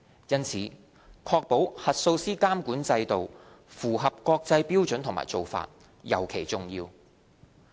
因此，確保核數師監管制度符合國際標準和做法，尤其重要。